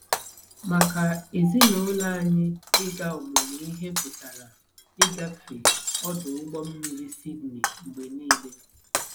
Maka ezinụlọ anyị, ịga ọmụmụ ihe pụtara ịgafe ọdụ ụgbọ mmiri Sydney mgbe nile.